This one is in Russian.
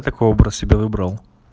такой образ себе выбрал